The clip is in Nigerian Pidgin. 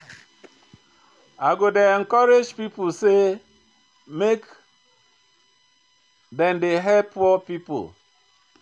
I go dey encourage pipo sey make dem dey help poor pipo.